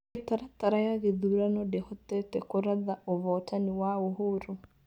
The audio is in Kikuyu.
Mĩtaratara ya gĩthurano ndĩhotete kũratha ũvootani wa Uhuru.